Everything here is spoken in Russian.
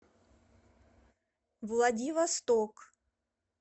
владивосток